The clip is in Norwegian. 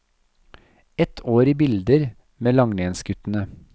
Ett år i bilder med langrennsguttene.